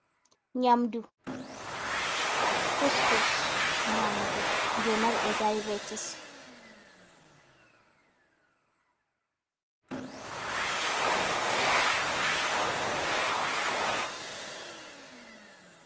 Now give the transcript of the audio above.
Nyamdu, kuskus nyamugo je marbe daibetis.